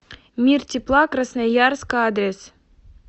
мир тепла красноярск адрес